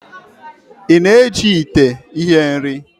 Ị na-eji ite ihe-nri?